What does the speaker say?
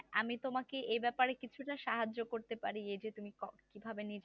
আমি তোমাকে এই ব্যাপারে কিছুটা সাহায্য করতে পারি এই যে তুমি কফ তুমি কিভাবে নীলা